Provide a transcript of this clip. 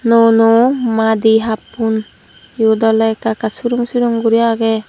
nuo nuo madi happun iyot ole ekka ekka surung surung guri age.